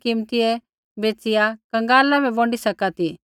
ऐईबै ता शोभली कीमतियै बेच़िया कंगाला बै बोंडी सका ती